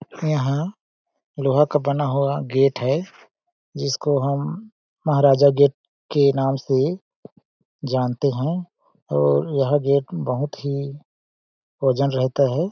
यहां लोहा का बना हुआ गेट है जिसको हम महाराजा गेट के नाम से जानते हैं और यह गेट बहुत ही होजन रहता है।